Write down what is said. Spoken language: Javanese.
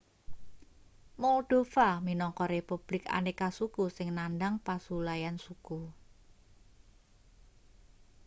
moldova minangka republik aneka-suku sing nandhang pasulayan suku